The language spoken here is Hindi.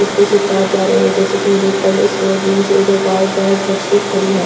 इसपे से तार जा रही है जैसे कि मैं देख पा रही हूं इस रोड में सब उधर गाय भेंड़ बछड़ी खड़ी है।